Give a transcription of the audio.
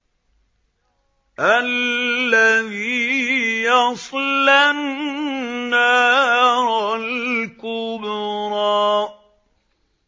الَّذِي يَصْلَى النَّارَ الْكُبْرَىٰ